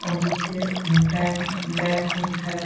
और नीचे bank bank उंक है।